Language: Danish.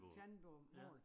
Fjandbomål